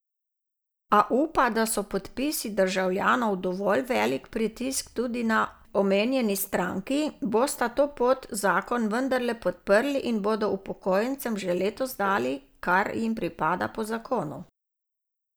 A upa, da so podpisi državljanov dovolj velik pritisk tudi na omenjeni stranki, bosta to pot zakon vendarle podprli in bodo upokojencem že letos dali, kar jim pripada po zakonu.